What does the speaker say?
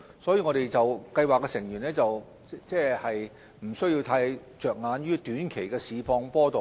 所以，計劃成員不需要太着眼於短期的市況波動。